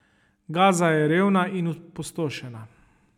Gaza je revna in opustošena.